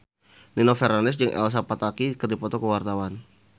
Nino Fernandez jeung Elsa Pataky keur dipoto ku wartawan